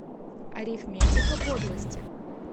арифметика подлости